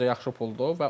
Məncə yaxşı puldur.